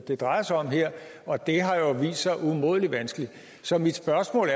det drejer sig om her og det har jo vist sig umådelig vanskeligt så mit spørgsmål